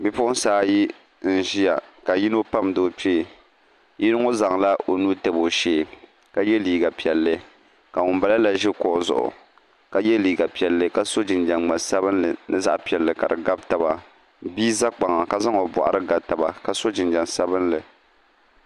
bi'puɣinsi ayi n-ʒia ka yino pamdi o kpee yino ŋɔ zaŋla o nuu tabi o shee ka ye liiga piɛlli ka ŋun mala la ʒi kuɣu zuɣu ka ye liiga piɛlli ka so jinjɛm ŋa'sabinlli ni zaɣ'piɛlli ka di gabi taba bia za kpaŋa ka zaŋ o bɔɣiri ga taba ka so jinjɛm sabinlli